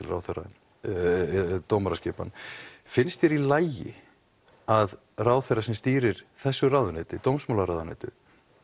ráðherra eða dómaraskipan finnst þér í lagi að ráðherra sem stýrir þessu ráðuneyti dómsmálaráðuneytinu